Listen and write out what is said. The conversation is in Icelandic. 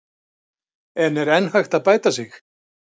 En er enn hægt að bæta sig?